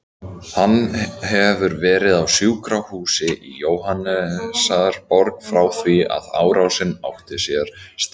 Hann hefur verið á sjúkrahúsi í Jóhannesarborg frá því að árásin átti sér stað.